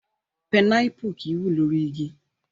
Pinápù kì í wù lórí igi.